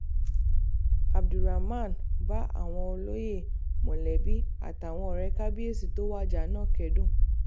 abdulrahman bá àwọn olóyè um mọ̀lẹ́bí àtàwọn ọ̀rẹ́ kábíyèsí tó wájà náà um kẹ́dùn